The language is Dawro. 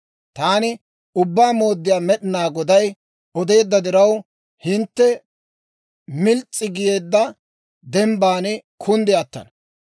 Taani Ubbaa Mooddiyaa Med'inaa Goday odeedda diraw, hintte mils's'i geedda dembban kunddi attana.